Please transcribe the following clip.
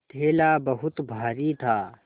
थैला बहुत भारी था